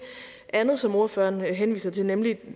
andet som ordføreren henviser til nemlig